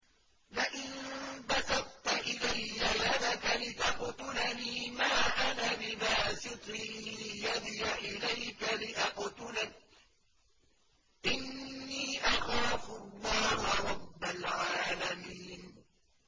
لَئِن بَسَطتَ إِلَيَّ يَدَكَ لِتَقْتُلَنِي مَا أَنَا بِبَاسِطٍ يَدِيَ إِلَيْكَ لِأَقْتُلَكَ ۖ إِنِّي أَخَافُ اللَّهَ رَبَّ الْعَالَمِينَ